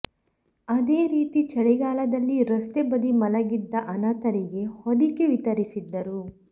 ಅದೇ ರೀತಿ ಚಳಿಗಾಲದಲ್ಲಿ ರಸ್ತೆ ಬದಿ ಮಲಗಿದ್ದ ಅನಾಥರಿಗೆ ಹೊದಿಕೆ ವಿತರಿಸಿದ್ದರು